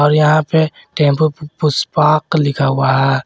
और यहां पे टेंपो पुष्पक लिखा हुआ है।